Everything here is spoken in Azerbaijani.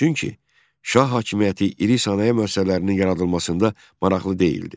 Çünki şah hakimiyyəti iri sənaye müəssisələrinin yaradılmasında maraqlı deyildi.